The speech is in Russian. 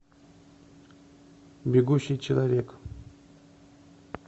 бегущий человек